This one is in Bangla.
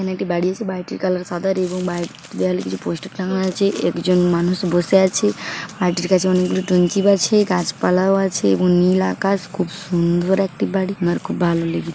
এখানে একটি বাড়ি আছে বাড়িটির কালার সাদা এবং বাড়িটির দেওয়ালে কিছু পোস্টার টাঙানো আছে একজন মানুষ বসে আছে আরেকটি গাছের আছে গাছপালাও আছে এবং নীল আকাশ খুব সুন্দর একটি বাড়ি আমার খুব ভালো লেগেছে ।